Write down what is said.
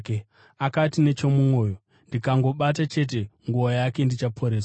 Akati nechomumwoyo, “Ndikangobata chete nguo yake, ndichaporeswa.”